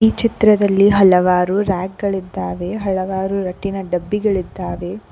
ಚಿತ್ರದಲ್ಲಿ ಹಲವಾರು ರಾಕ್ ಗಳಿದ್ದಾವೆ ಹಲವಾರು ಡಬ್ಬಿಗಳಿದ್ದಾವೆ.